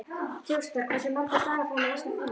Þjóstar, hversu margir dagar fram að næsta fríi?